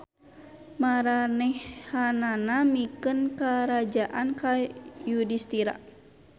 Maranehanana mikeun karajaan ka Yudistira.